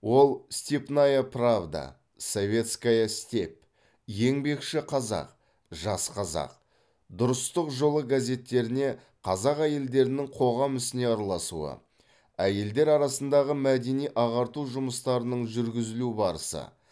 ол степная правда советская степь еңбекші қазақ жас қазақ дұрыстық жолы газеттеріне қазақ әйелдерінің қоғам ісіне араласуы әйелдер арасындағы мәдени ағарту жұмыстарының жүргізілу барысы